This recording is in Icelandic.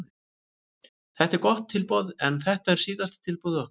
Þetta er gott tilboð en þetta er síðasta tilboð okkar.